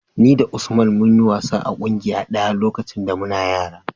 Ni da Usman mun yi wasa a ƙungiya ɗaya lokacin da muna yara.